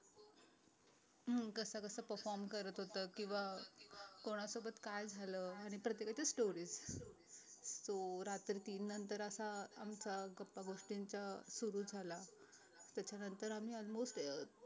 हम्म कसं कसं perform करत होत किंवा कोणासोबत काय झालं आणि प्रत्येकाच्या stories तो रात्री तीन नंतर असा आमचा गपागोष्टींचा सुरु झाला त्याच्यानंतर आम्ही almost अं